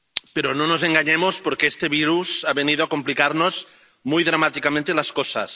Pero no nos engañemos, porque este virus ha venido a complicarnos muy dramáticamente las cosas.